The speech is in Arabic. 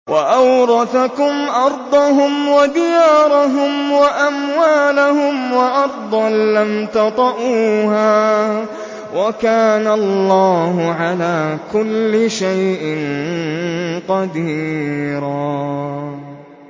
وَأَوْرَثَكُمْ أَرْضَهُمْ وَدِيَارَهُمْ وَأَمْوَالَهُمْ وَأَرْضًا لَّمْ تَطَئُوهَا ۚ وَكَانَ اللَّهُ عَلَىٰ كُلِّ شَيْءٍ قَدِيرًا